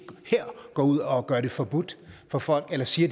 her går ud og gør det forbudt for folk eller siger